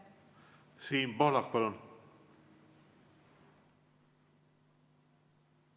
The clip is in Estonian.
Siim Pohlak, palun!